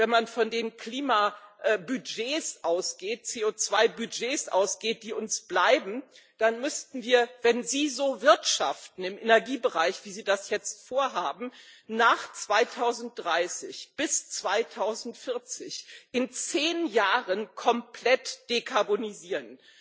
Wenn man von den Klimabudgets, den CO2 Budgets ausgeht, die uns bleiben, dann müssten wir, wenn Sie so wirtschaften im Energiebereich, wie Sie das jetzt vorhaben, nach 2030 bis 2040 in zehn Jahren komplett dekarbonisieren.